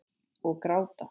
Og gráta.